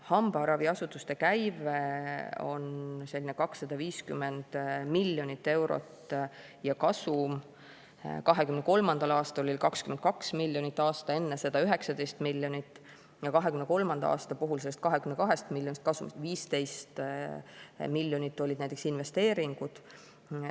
Hambaraviasutuste käive on umbes 250 miljonit eurot ja kasum oli 2023. aastal 22 miljonit, aasta enne seda 19 miljonit ja 2023. aasta puhul sellest 22 miljonist eurost kasumist 15 miljonit olid näiteks investeeringud.